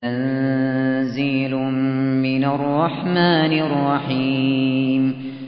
تَنزِيلٌ مِّنَ الرَّحْمَٰنِ الرَّحِيمِ